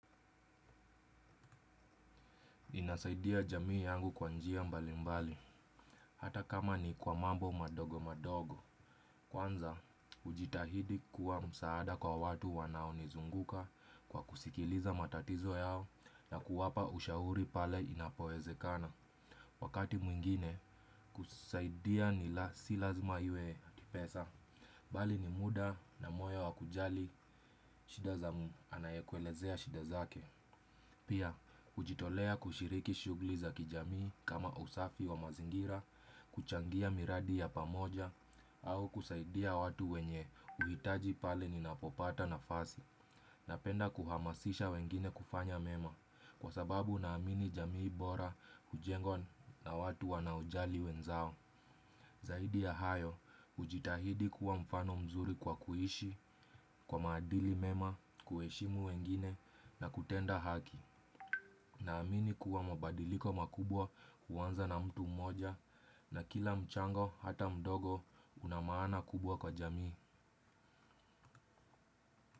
Inasaidia jamii yangu kwa njia mbali mbali, hata kama ni kwa mambo madogo madogo. Kwanza, hujitahidi kuwa msaada kwa watu wanaonizunguka kwa kusikiliza matatizo yao na kuwapa ushauri pale inapowezekana. Wakati mwingine, kusaidia si lazima iwe pesa. Bali ni muda na moyo wa kujali, shida za anayekuelezea shida zake. Pia, hujitolea kushiriki shughuli za kijamii kama usafi wa mazingira, kuchangia miradi ya pamoja, au kusaidia watu wenye uhitaji pale ninapopata nafasi. Napenda kuhamasisha wengine kufanya mema, kwa sababu naamini jamii bora, hujengwa na watu wanaojali wenzao. Zaidi ya hayo, hujitahidi kuwa mfano mzuri kwa kuishi, kwa maadili mema, kuheshimu wengine na kutenda haki. Naamini kuwa mabadiliko makubwa huanza na mtu mmoja na kila mchango hata mdogo una maana kubwa kwa jamii.